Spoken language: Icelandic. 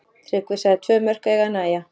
Tryggvi sagði tvö mörk eiga að nægja.